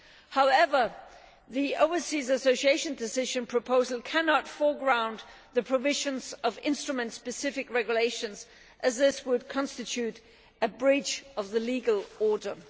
However the Overseas Association Decision proposal cannot foreground the provisions of instrument specific regulations as this would constitute a breach of the legal order.